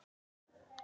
Og þá byrjaði fjörið.